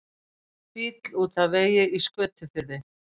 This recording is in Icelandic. Bíll út af vegi í Skötufirði